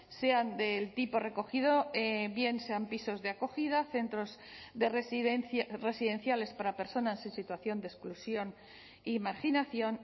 sean del tipo recogido bien sean pisos de acogida centros de residencia residenciales para personas en situación de exclusión y marginación